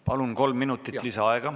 Palun!